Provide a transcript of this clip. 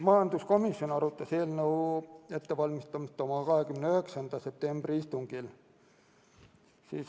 Majanduskomisjon arutas eelnõu ettevalmistamist oma 29. septembri istungil.